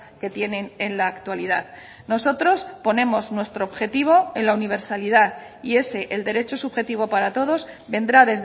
que tienen en la actualidad nosotros ponemos nuestro objetivo en la universalidad y ese el derecho subjetivo para todos vendrá